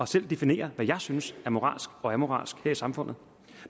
selv definere hvad jeg synes er moralsk og moralsk her i samfundet